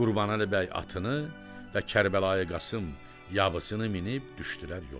Qurbanəli bəy atını və Kərbəlayı Qasım yabısını minib düşdülər yola.